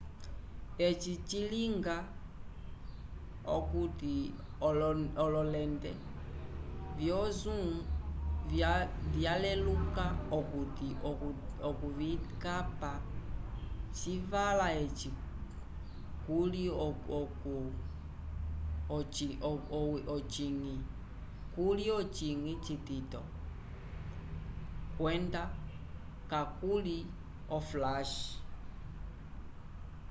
eci cilinga okuti ololente vyo zoom vyaleluka okuti okuvikapa civala eci kuli ocinyi citito kwenda kakuli oflash